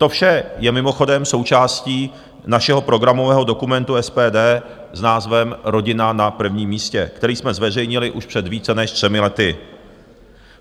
To vše je mimochodem součástí našeho programového dokumentu SPD s názvem Rodina na prvním místě, který jsme zveřejnili už před více než třemi lety.